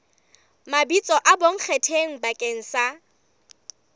mabitso a bonkgetheng bakeng sa